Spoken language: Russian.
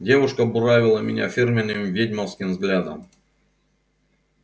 девушка буравила меня фирменным ведьмовским взглядом